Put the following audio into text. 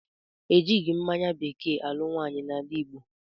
E jighi mmanya bekee alụ nwaanyị n'ala Igbo